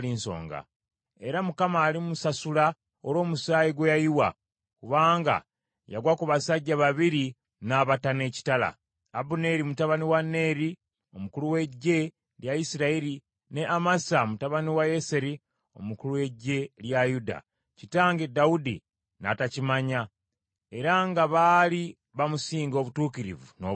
Era Mukama alimusasula olw’omusaayi gwe yayiwa, kubanga yagwa ku basajja babiri n’abatta n’ekitala, Abuneeri mutabani wa Neeri, omukulu w’eggye lya Isirayiri, ne Amasa mutabani wa Yeseri, omukulu w’eggye lya Yuda, kitange Dawudi n’atakimanya, ate nga baali bamusinga obutuukirivu n’obulungi.